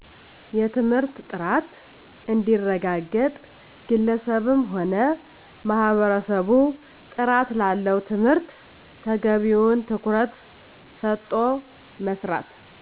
የትምህርት ጥራት እንዲረጋገጥ ግለሰብም ሆነ ማህበረሰቡጥራት ላለው ትምህርት ተገቢውን ትኩረት ሰጥቶ መሥራት